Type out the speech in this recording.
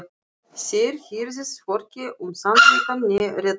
Þér hirðið hvorki um sannleikann né réttlætið.